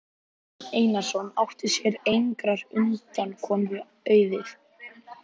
Marteinn Einarsson átti sér engrar undankomu auðið.